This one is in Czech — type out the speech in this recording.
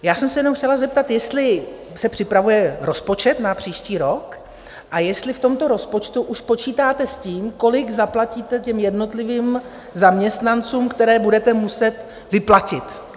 Já jsem se jenom chtěla zeptat, jestli se připravuje rozpočet na příští rok a jestli v tomto rozpočtu už počítáte s tím, kolik zaplatíte těm jednotlivým zaměstnancům, které budete muset vyplatit.